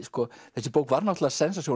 þessi bók var náttúrulega